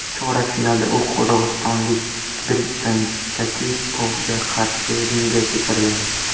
Chorak finalda u qozog‘istonlik Birjan Jakipovga qarshi ringga ko‘tariladi.